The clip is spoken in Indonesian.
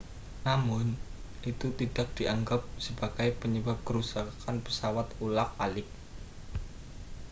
namun itu tidak dianggap sebagai penyebab kerusakan pesawat ulang-alik